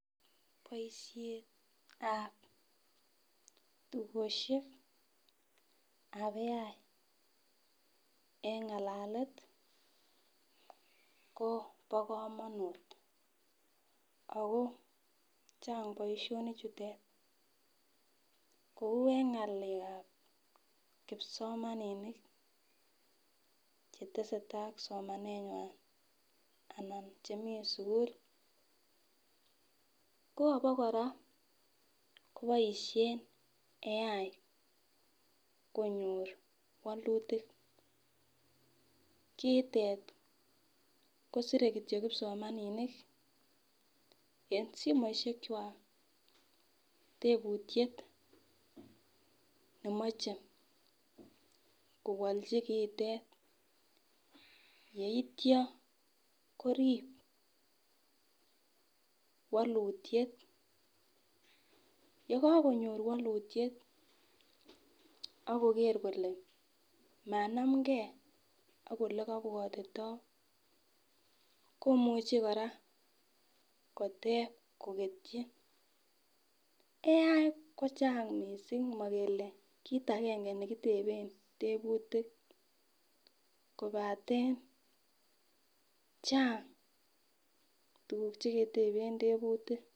Boishetab tugoshekab AI en ngalalet Kobo komonut ako chang boishonik chute kou en ngalekab kipsomaninik chetesetai ak somaneywan ana chemii sukul ko ana koraa koboishen AI konyor wolutik . Kitet kosire kityok kipsomaninik en somoishek kwak teputyet nemoche kowalchi kiitet yeityo korib wolutyet, yekokonyor wolutyet akoker kole kanamgee ak ole kobwotito komuche koraa koteb koketyi. AI kochang missing mokele kit agenge nekitepen teputik kobaten Chang tukuk cheketebe teputik.